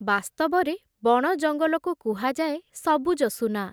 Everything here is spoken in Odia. ବାସ୍ତବରେ ବଣ ଜଙ୍ଗଲକୁ କୁହାଯାଏ ସବୁଜ ସୁନା ।